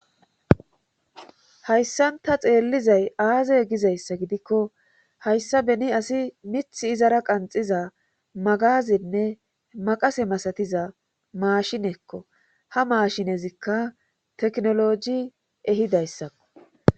Hayssanta xeellizay aazey gizayssa gidikko hayssa beni asi mith izara qanxiza magazenne maqase masatiza maashinekko ha maashinezikka teknoloji ehidayssakko